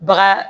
Baga